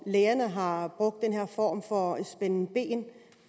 lægerne har har brugt den her form for spænden ben